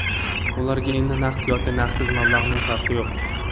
Ularga endi naqd yoki naqdsiz mablag‘ning farqi yo‘q.